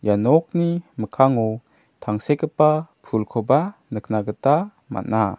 ia nokni mikkango tangsekgipa pulkoba nikna gita man·a.